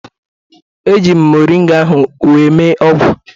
Eji m moringa ahụ wee mee ọgwụ